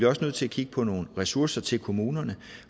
også nødt til at kigge på nogle ressourcer til kommunerne